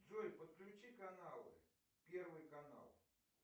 джой подключи каналы первый канал